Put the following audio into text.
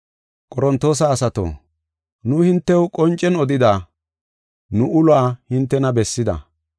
Qorontoosa asato, nu hintew qoncen odida; nu uluwa hintena bessida.